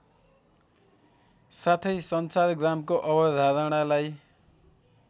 साथै सञ्चारग्रामको अवधारणालाई